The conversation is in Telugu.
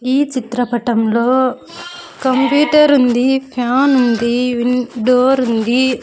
ఈ చిత్రపటంలో కంప్యూటర్ ఉందిఫ్యాన్ ఉంది విన్ డోర్ ఉంది.